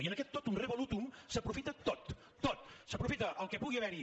i en aquest totum revolutum s’aprofita tot tot s’aprofita el que pugui haverhi